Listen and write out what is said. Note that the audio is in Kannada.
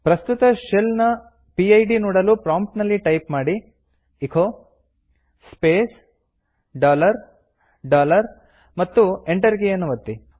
ಪ್ರಸ್ತುತ ಶೆಲ್ ನ ಪಿಡ್ ನೋಡಲು ಪ್ರಾಂಪ್ಟಿನಲ್ಲಿ ಟೈಪ್ ಮಾಡಿ ಎಚೊ ಸ್ಪೇಸ್ ಡಾಲರ್ ಡಾಲರ್ ಮತ್ತು ಎಂಟರ್ ಕೀಯನ್ನು ಒತ್ತಿ